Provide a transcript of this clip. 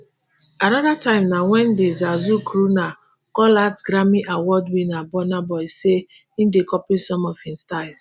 anoda time na wen di zazu crooner call out grammy award winner burna boy say e dey copy some of im styles.